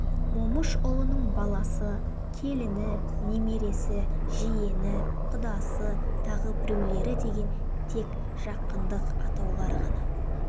момышұлының баласы келіні немересі жиені құдасы тағы біреулері деген тек жақындық атаулар ғана